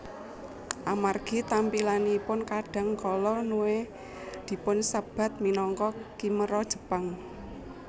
Amargi tampilanipun kadang kala Nue dipunsebat minangka khimera Jepang